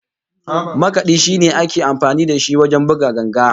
Makadi shine ake amfani da shi wajen buga ganga